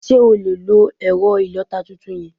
Sé o lè lo èrẹ̀ ìlota tuntun yen?